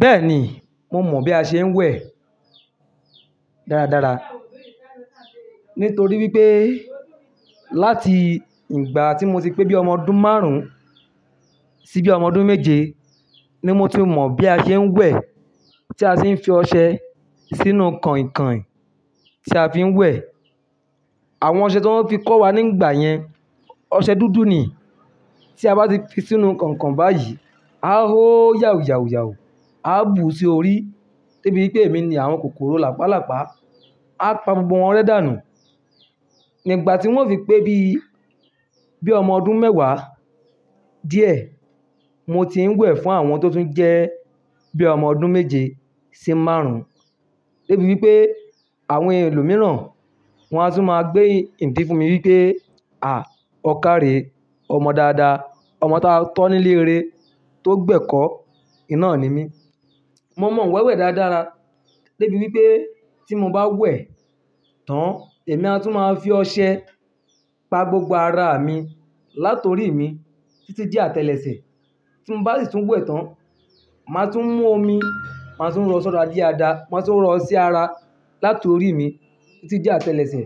Bẹ́ẹ̀ni, mo mọ̀ bí a ṣe ń wẹ̀ dáradára. Nítorí wípé láti ìgbà tí mo ti pé bíi ọmọ ọdún márùn-ún sí bí ọmọ ọdún méje ni mo ti mọ̀ bí a ṣe ń wẹ̀. Tí a ṣe ń fi ọṣẹ sínú kànkàn tí a fi ń wẹ̀. Àwọn ọṣẹ tí wọ́n fi kọ́ wa nígbà yẹn, ọṣẹ dúdú ni. Tí a bá fi sínú kànkàn báyìí, á hó yàwúuyàwúù, á bù sí orí débi wípé èmi ni àwọn kòkòrò làpálàpá á pa gbogbo wọn rẹ́ dànù. Nígbà tí wón fi pé bí, bí ọmọ ọdún mẹ́wàá díẹ̀ mo ti ń wẹ̀ fún àwọn tó tún jẹ́ bí ọmọ ọdún méje sí márùn-ún débi wípé àwọn ẹlòmíràn wọn á tún máa gbé ìdí fún mi wípé "à, ọkà rè, ọmọ dáadáa, ọmọ ta tọ́ nílé eré tó gbẹ́kọ̀ọ́" iná ni mí. Mo mọ wẹ́wẹ́ dáradára débi wípé tí mo bá wẹ̀ tán, èmi a tún máa fi ọṣẹ pa gbogbo ara mi látorí mi tí tí dé atẹlẹsẹ̀. Tí mo bá sì tún wẹ̀ tán, màá tún mú omi, màá tún rọ ṣàra di adá, màá tún rọọ ṣí ara látorí mi tí di atẹlẹsẹ̀